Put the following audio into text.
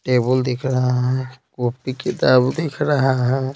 Table दिख रहा है कॉपी किताब दिख रहा है।